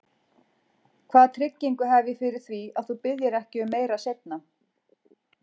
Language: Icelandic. Hvaða tryggingu hef ég fyrir því, að þú biðjir ekki um meira seinna?